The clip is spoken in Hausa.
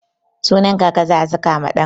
Sunan kaka za'a saka ma ɗan.